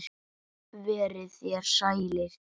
Verið þér sælir.